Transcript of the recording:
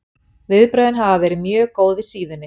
Viðbrögðin hafa verið mjög góð við síðunni.